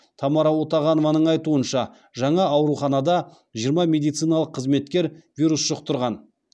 тамара утағанованың айтуынша жаңа ауруханада жиырма медициналық қызметкер вирус жұқтырған